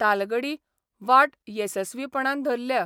तालगडी वाट येसस्वीपणान धरल्या.